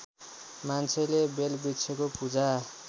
मान्छेले बेलवृक्षको पूजा